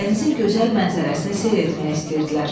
dənizin gözəl mənzərəsini seyr etmək istəyirdilər.